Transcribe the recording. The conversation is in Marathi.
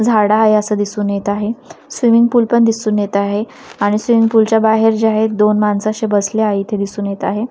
झाडं आहे असं दिसून येत आहे स्विमिंग पूल पण दिसून येत आहे आणि स्विमिंग पूल च्या बाहेर जे आहे दोन माणसं असे बसले आहे इथे दिसून येत आहे.